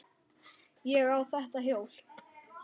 Ég á þetta hjól!